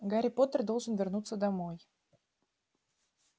гарри поттер должен вернуться домой